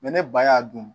ne ba y'a dun